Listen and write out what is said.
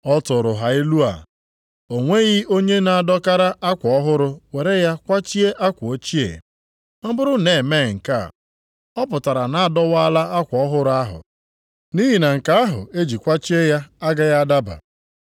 Ọ tụụrụ ha ilu a, “O nweghị onye na-adọkara akwa ọhụrụ were ya kwachie akwa ochie. Ọ bụrụ na e mee nke a, ọ pụtara na a dọwaala akwa ọhụrụ ahụ nʼihi na nke ahụ eji kwachie ya agaghị adaba.